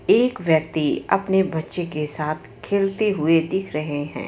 एक व्यक्ति अपने बच्चे के साथ खेलते हुए दिख रहे हैं.